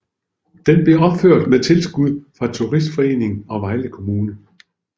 Den blev genopført med tilskud fra turistforeningen og Vejle Kommune